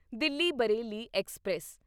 Delhi Bareilly express